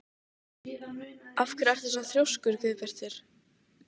Af hverju ertu svona þrjóskur, Guðbjartur?